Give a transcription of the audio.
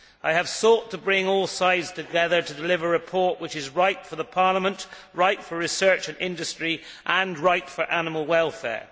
I have sought to bring all sides together to deliver a report which is right for Parliament, right for research and industry, and right for animal welfare.